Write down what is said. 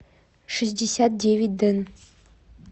шестьдесят девять дэн